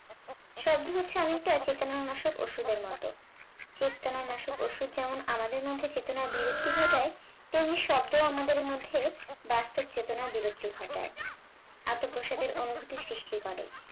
শব্দ হচ্ছে অনেকটা চেতনা নাশক ওষুধের মত চেতনা নাশক ওষুধ যেমন আমাদের মধ্যে চেতনার বিলুপ্তি ঘটায় তেমনি শব্দ আমাদের মধ্যে বাস্তব চেতনার বিলুপ্তি ঘটায় আত্ম প্রসাদের অনুভূতি সৃষ্টি করে